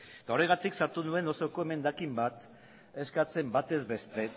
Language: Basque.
eta horregatik sartu nuen osoko emendakin bat eskatzen batez beste